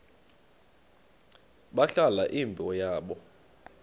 balahla imbo yabo